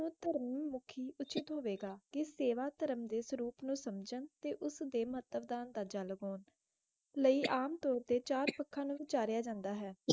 ਮੁਖੀ ਉਚਿਤ ਹੋਵੇ ਗਾ ਕਿਸ ਨੂ ਸੇਵਾ ਧਰਮ ਦੇ ਸਵਰੂਪ ਉ ਸਮਝਾਂ ਤੇ ਉਸ ਦੇ ਮਤਲਬ ਦਾ ਅੰਦਾਜ਼ਾ ਲਗਨ ਲੈ ਆਮ ਤੋਰ ਤੇ ਚਾਰ ਪਖਾਨ ਨਾਲ ਵਿਚਾਰਯ ਜਾਂਦਾ ਹੈ